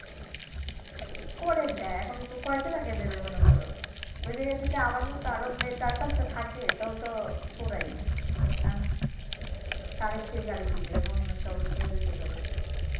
করে দেয় এখন কয়জনাকে করে দিবে মনে কর? ঐজায়গায় যদি মনে কর ইয়ে মানি আমার মত আরও চার পাঁচ টা থেকে তাহলেতো পুরাই। এখন এখন কারে থুয়ে কারে দিবে এমন একটা অবস্থা হয়ে যাবে।